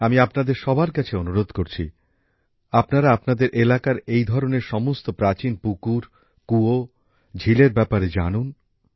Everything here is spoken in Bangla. আমি আপনাদের সবার কাছে অনুরোধ করছি আপনারা আপনাদের এলাকার এই ধরণের সমস্ত প্রাচীন পুকুর কুয়ো ঝিলের ব্যাপারে জানুন